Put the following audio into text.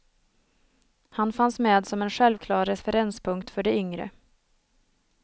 Han fanns med som en självklar referenspunkt för de yngre.